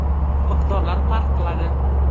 Miqdorlar farq qiladi.